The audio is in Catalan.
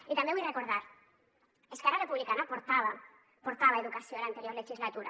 i també vull recordar ho esquerra republicana portava educació a l’anterior legislatura